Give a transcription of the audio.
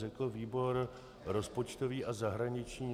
Řekl výbor rozpočtový a zahraniční.